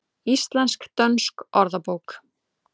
Íslensk-dönsk orðabók.